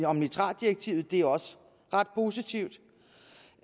om nitratdirektivet og det er også ret positivt